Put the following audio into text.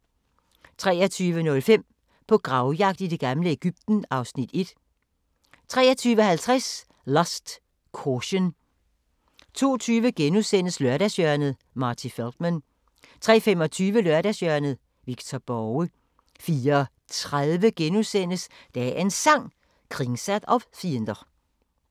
23:05: På gravjagt i det gamle Egypten (Afs. 1) 23:50: Lust, Caution 02:20: Lørdagshjørnet - Marty Feldman * 03:25: Lørdagshjørnet – Victor Borge 04:30: Dagens Sang: Kringsatt av fiender *